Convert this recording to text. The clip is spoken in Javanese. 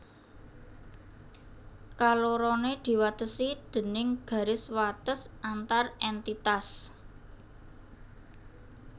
Kaloroné diwatesi déning garis wates antar èntitas